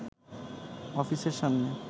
অফিসের সামনে